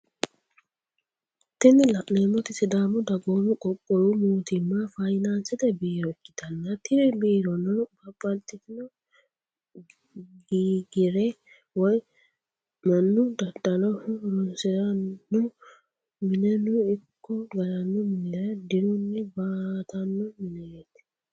Tini lanemoti sidaamu dagoomu qoqqowu mootimma fayinaansete biiro ikitana tini biirono babititino giigire woy manu daddaloho horonisirano mineno iko galano minira diiruni battano mineti